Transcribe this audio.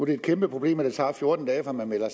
er et kæmpe problem at det tager fjorten dage fra man melder